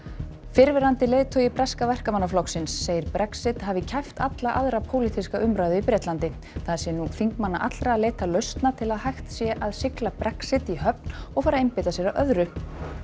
fyrrverandi leiðtogi breska Verkamannaflokksins segir Brexit hafi kæft alla aðra pólitíska umræðu í Bretlandi það sé nú þingmanna allra að leita lausna til að hægt sé að sigla Brexit í höfn og fara að einbeita sér að öðru